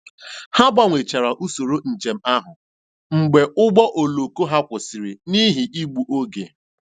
Ha gbanwechara usoro njem ahụ mgbe ụgbọ oloko ha kwụsịrị n'ihi igbu oge.